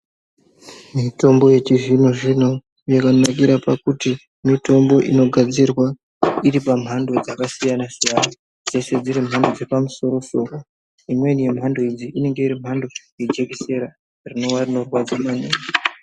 Mitombo yechizvino zvino yakanakira pakuti mitombo inogadzirwa iri pamhando dzakasiyana siyana dzeshe dziri mhando dzepamusoro soro imweni yemhando idzi imhando yejekisera rinowa rinorwadza maningi.